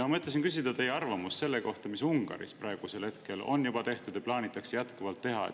Ma mõtlesin küsida teie arvamust selle kohta, mida Ungaris on tehtud ja jätkuvalt plaanitakse teha.